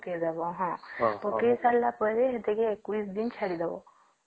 ପକେଇ ଦବ ହଁ ପକେଇ ସରିଲା ପରେ ସେଠିକି ୨୧ ଦିନ ଛାଡ଼ି ଦବ